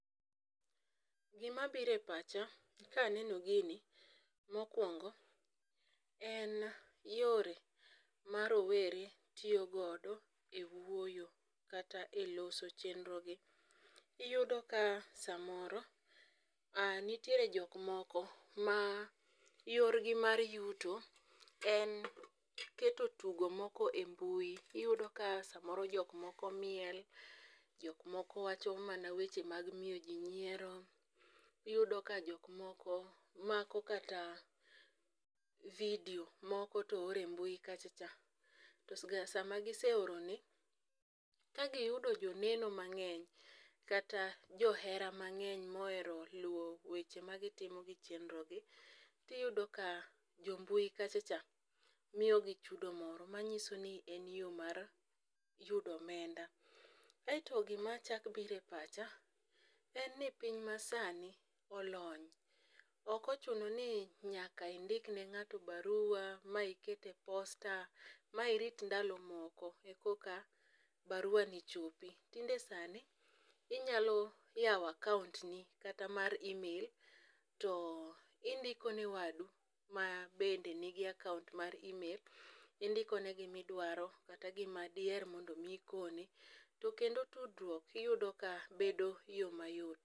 Gima biro e pacha ka aneno gini, mokwongo, en yore ma rowere tiyogodo e wuoyo kata e loso chienrogi. Iyudo ka samoro nitiere jok moko ma yorgi mar yuto en keto tugo moko e mbui. Iyudo ka samoro jok moko miel, jok moko wacho mana weche mag miyo ji nyiero. Iyudo ka jok moko mako kata video moko to oro e mbui kacha cha. To sama giseoroni, ka giyudo jo neno mang'eny kata jo mbui mang'eny, kata johera mang'eny ma ohero luwo weche ma gititmo gi chienrogi, to iyudo ka jo mbui kacha cha miyogi chudo moro manyiso ni en yoo mar yudo omenda. Aito gima chak biro e pacha, en ni piny masani olony. Ok ochuno ni nyaka indikne ng'ato barua, ma iket e posta, ma irit ndalo moko e koka barua ni chopi. Tinde sani, inyalo yawo account ni kata mar e-mail, to indiko ne wadu ma bende nigi account mar e-mail, indikone gima idwaro kata gima diher mar mondo mi ikone, to kendo tudruok iyudo ka bedo yoo ma yot.